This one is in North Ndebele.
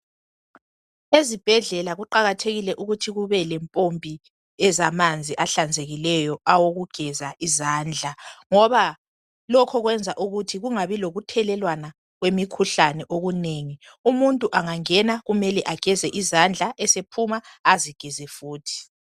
Ezibhedlela kuqakathekile ukuthi kubelempompi ezamanzi ahlanzekileyo awokugeza izandla ngoba lokho kwenza ukuthi kungabi lokuthelelwana kwemikhuhlane okunengi. Umuntu angangena kumele ageze izandla esephuma azigeze futhi.